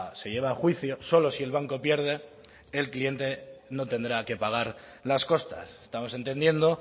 se lleva a juicio solo si el banco pierde el cliente no tendrá que pagar las costas estamos entendiendo